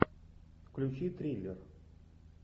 включи триллер